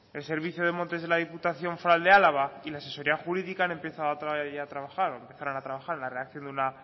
el servicio de montes de la diputación de álava y la asesoría jurídica han empezado otra vez ya a trabajar o empezaron a trabajar en la redacción de una